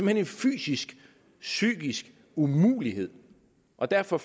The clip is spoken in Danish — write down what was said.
hen en fysisk psykisk umulighed og derfor